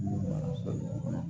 B nana so mɔgɔw